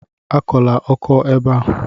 Akọla ọkọ a ébé a!